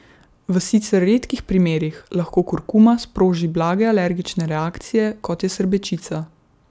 V sicer redkih primerih lahko kurkuma sproži blage alergične reakcije, kot je srbečica.